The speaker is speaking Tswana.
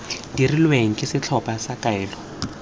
dirilweng ke setlhopha sa kaelo